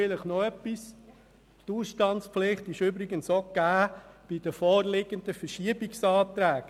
Vielleicht noch etwas: Die Ausstandspflicht ist auch mit den vorliegenden Anträgen auf Verschiebung gegeben.